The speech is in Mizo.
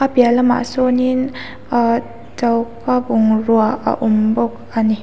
a piah lamah sawn in ah choka bungrua a awm bawk ani.